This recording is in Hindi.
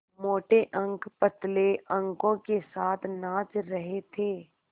मोटे अंक पतले अंकों के साथ नाच रहे थे